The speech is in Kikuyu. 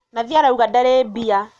Nathi arauga ndarĩmbia.